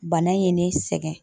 Bana ye ne sɛgɛn